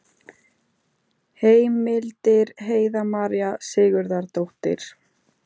Heimildir Heiða María Sigurðardóttir.